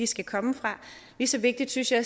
skal komme fra lige så vigtige synes jeg